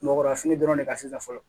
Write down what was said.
Mɔgɔnfini dɔrɔn de ka sisan fɔlɔ